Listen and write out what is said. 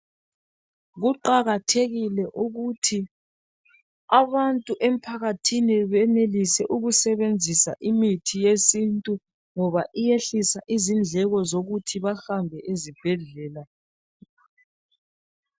Kuqakathekile ukuthi abantu emphakathini benelise ukusebenzisa imithi yesintu ngoba iyehlisa izindleko zokuthi bahambe esibhedlela.